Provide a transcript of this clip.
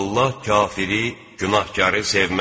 Allah kafiri, günahkarı sevməz.